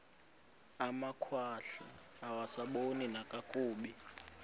amakhwahla angasaboni nakakuhle